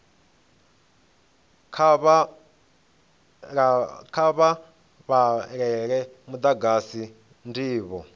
kha vha vhalele vhagudiswa ndivho